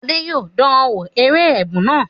Adé yòó dá wo eré ẹ̀rù náà